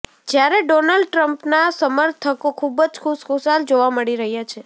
જ્યારે ડોનાલ્ડ ટ્રમ્પના સમર્થકો ખુબ જ ખુશખુશાલ જોવા મળી રહ્યાં છે